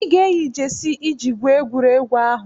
Ị ga-eyi jesi iji gwuo egwuregwu ahụ!